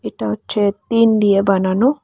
এটা হচ্ছে তিন দিয়ে বানানো।